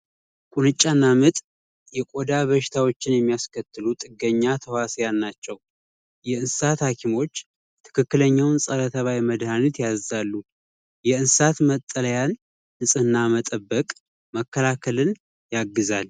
ቁንጫና ምጥ የቆዳ በሽታን የሚያስከትሉ ጥገኛ ናቸው የእንሰሳት ሀኪሞች ትክክለኛውን ፀረ ተባይ መድሃኒት ያዛሉ የእንስሳ መጠለያ ንጽህና መጠበቅ መከላከልን ያግዛል።